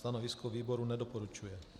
Stanovisko výboru nedoporučuje.